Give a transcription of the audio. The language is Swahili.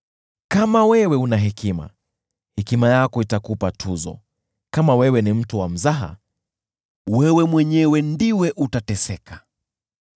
Kama wewe una hekima, hekima yako itakupa tuzo; kama wewe ni mtu wa mzaha, wewe mwenyewe ndiwe utateseka.”